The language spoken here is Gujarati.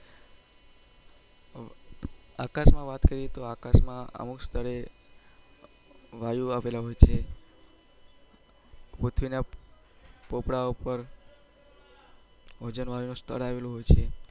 આકાશ માં વાત કરીએ તો અમુક સ્થળે વાયુ અવેલા હોય છે પુથ્વી ના પોપડા ઉપર ઓજોન વાયુ નું સ્તર આવેલું હોય છે